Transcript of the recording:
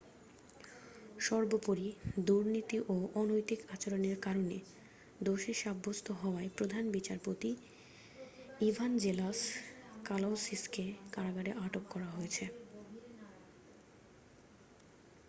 সর্বোপরি দুর্নীতি ও অনৈতিক আচরণের কারণে দোষী সাব্যস্ত হওয়ায় প্রধান বিচারপতি ইভাঞ্জেলাস কালাউসিস কে কারাগারে আটক করা হয়েছে